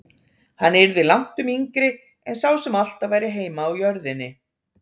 Hann yrði langtum yngri en sá sem alltaf væri heima á jörðinni.